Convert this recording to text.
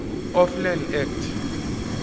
of land act